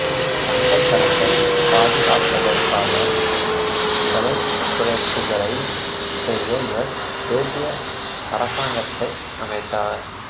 தங்கத் தரத்தை பாதுகாப்பதற்காக செலவுக் குறைப்புகளைச் செய்ய இவர் தேசிய அரசாங்கத்தை அமைத்தார்